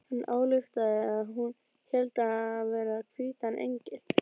Hann ályktaði að hún héldi hann vera hvítan engil.